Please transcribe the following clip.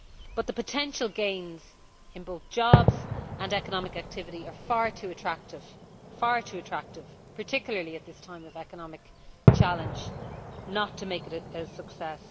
But the potential gains in both jobs and economic activity are far too attractive, particularly at this time of economic challenge, not to make it a success.